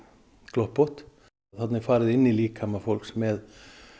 gloppótt þarna er farið inn í líkama fólks með